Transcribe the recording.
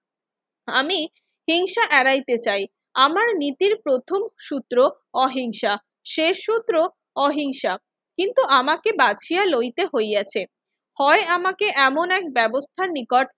আমি হিংসা এড়াইতে চাই। আমার নীতির প্রথম সূত্র অহিংসা, শেষ সূত্র অহিংসা। কিন্তু আমাকে বাছিয়া লইতে হইয়াছে। হয় আমাকে এমন এক ব্যবস্থার নিকট